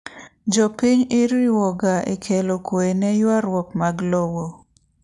Jopiny iriwoga ekelo kwee ne yuaruok mag lowo.